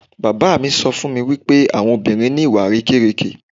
Bàbá mi sọ fún mi wípé àwọn obìnrin ni ìwà àrékérekè.